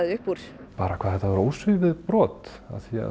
upp úr ja bara hvað þetta var ósvífið brot